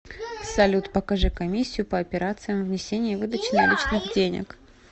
салют покажи комиссию по операциям внесения и выдачи наличных денег